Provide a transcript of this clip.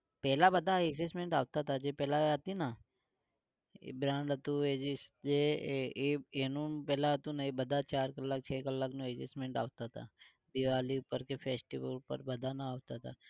પેલા બધા adjustment આપતા તા જે પેલા હતી ના એ brand હતું જે એ એનું પેલા હતું ને એ બધા ચાર કલાક છ કલાક નું adjustment આપતા તા દિવાળી પર કે festival પર બધાને આપતા તા